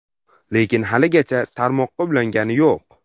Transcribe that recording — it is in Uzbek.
Lekin haligacha tarmoqqa ulangani yo‘q.